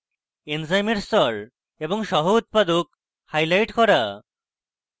এনজাইমের স্তর এবং সহ উত্পাদক highlight করা